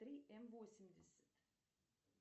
три м восемьдесят